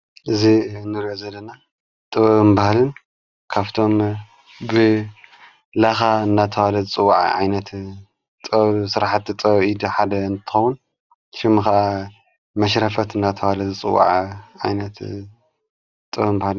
እዝ ንሪኦ ዘለና ጥበብን ባህልን ካፍቶም ብለኻ እናታዋለ ዝጽዉዐ ኣይነት ጥሠሕቲ ጠዉኢድ ሓደ እንተዉን ሽሚ ኸዓ መሽረፈት ናተዋለ ዝፅዉዐ ኣይነት ጥወ ምበሃልን::